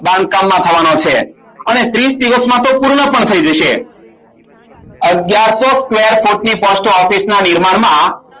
બાંધકામ માં થવાનો છે અને ત્રીશ દિવસમાં તો પૂર્ણ પણ થાય જશે અગિયારસો office ના નિર્માણમાં